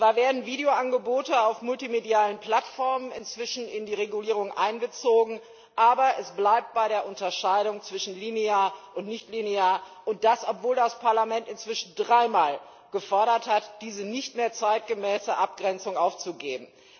Zwar werden Videoangebote auf multimedialen Plattformen inzwischen in die Regulierung einbezogen, aber es bleibt bei der Unterscheidung zwischen linear und nichtlinear, und das, obwohl das Parlament inzwischen dreimal gefordert hat, diese nicht mehr zeitgemäße Abgrenzung aufzugeben.